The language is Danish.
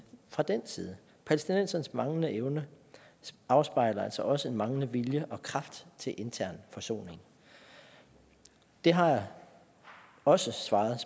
fra den side palæstinensernes manglende evne afspejler altså også en manglende vilje og kraft til intern forsoning det har jeg også svaret